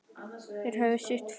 Þeir höfðu sitt fram.